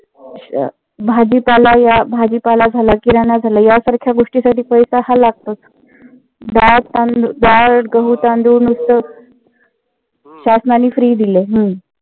भाजीपाला या भाजीपाला झालं किराणा झालं यासारख्या गोष्टीसाठी पैसा हा लागतोच. डाळ गहू तांदूळ नुंस्त शासनाने free दिलय. हम्म